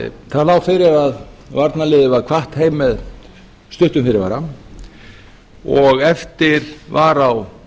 það lá fyrir að varnarliðið var kvatt heim með stuttum fyrirvara og eftir var á